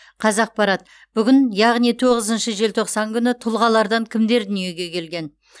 қазақпарат бүгін яғни тоғызыншы желтоқсан күні тұлғалардан кімдер дүниеге келген